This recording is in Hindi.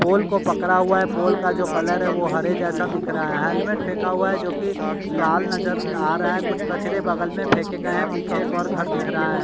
पोल को पकड़ा हुआ है पोल का जो कलर है वो हरे जैसा दिख रहा है हेलमेट फेंका हुआ है जो की लाल नजर आ रहा है कुछ कचरे बगल में फेके गए हैं पीछे एक और घर दिख रहा है।